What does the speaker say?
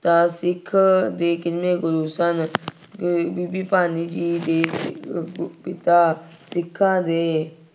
ਤਾ ਸਿੱਖ ਦੇ ਕਿੰਨਵੇਂ ਗੁਰੂ ਸਨ। ਬੀਬੀ ਭਾਨੀ ਜੀ ਦੇ ਅਹ ਪਿਤਾ ਸਿੱਖਾਂ ਦੇ